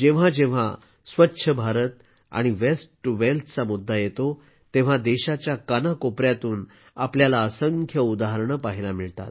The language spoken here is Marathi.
जेव्हा जेव्हा स्वच्छ भारत आणि वेस्ट टू वेल्थचा मुद्दा येतो तेव्हा देशाच्या कानाकोपऱ्यातून आपल्याला असंख्य उदाहरणे पाहायला मिळतात